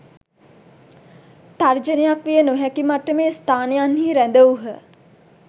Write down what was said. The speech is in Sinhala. තර්ජනයක් විය නොහැකි මට්ටමේ ස්ථානයන්හි රැඳවූහ